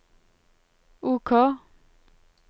OK